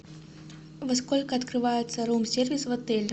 во сколько открывается рум сервис в отеле